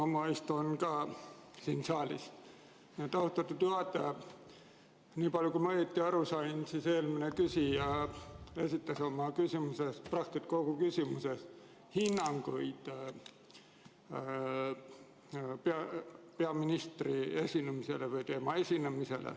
Ma istun samuti siin saalis, austatud juhataja, ja niipalju kui ma aru sain, andis eelmine küsija praktiliselt kogu küsimuse ulatuses peaministri esinemisele hinnanguid.